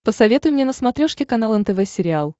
посоветуй мне на смотрешке канал нтв сериал